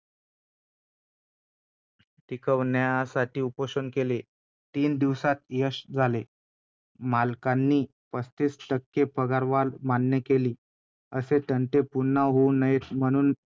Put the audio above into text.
उपोषण केले. तीन दिवसांत यश आले. मालकांनी पस्तीस टक्के पगारवाढ मान्य केली. असे तंटे पुन्हा होऊ नयेत म्हणून